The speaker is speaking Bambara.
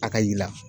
A ka yira